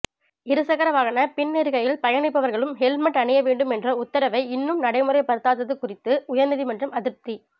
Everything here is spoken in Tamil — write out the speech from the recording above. இருசக்கர வாகன பின் இருக்கையில் பயணிப்பவர்களும் ஹெல்மெட் அணிய வேண்டும் என்ற உத்தரவை இன்னமும் நடைமுறைப்படுத்தாது குறித்து உயர்நீதிமன்றம் அதிருப்தி